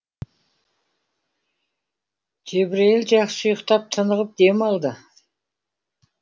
жебірейіл жақсы ұйықтап тынығып дем алды